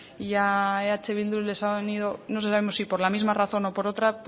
y a eh bildu les ha unido no sabemos si por la misma razón o por otra